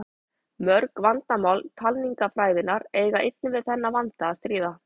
Mörg vandamál talningarfræðinnar eiga einnig við þennan vanda að stríða.